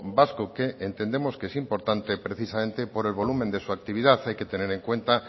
vasco que entendemos que es importante precisamente por el volumen de su actividad hay que tener en cuenta